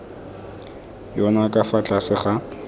yona ka fa tlase ga